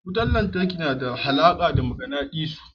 Wutar lantarki yana da alaƙa da maganadisu.